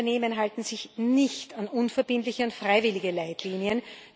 So viele Unternehmen halten sich nicht an unverbindliche und freiwillige Leitlinien.